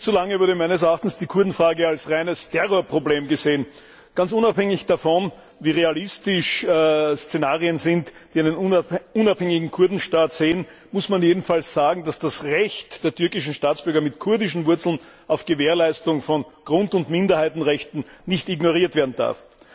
Viel zu lange wurde meines Erachtens die Kurdenfrage als reines Terrorproblem gesehen. Ganz unabhängig davon, wie realistisch Szenarien sind, die einen unabhängigen Kurdenstaat sehen, muss man jedenfalls sagen, dass das Recht der türkischen Staatsbürger mit kurdischen Wurzeln auf Gewährleistung von Grund und Minderheitenrechten nicht ignoriert werden darf.